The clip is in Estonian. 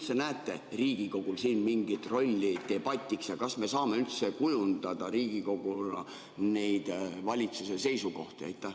Kas te näete Riigikogul siin mingit rolli debatiks ja kas me saame Riigikoguna üldse kujundada valitsuse seisukohti?